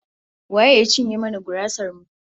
Wa ya cinye mana gurasar mu?